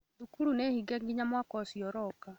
Thukuru nĩ hinge nginya mwaka ũcio ũroka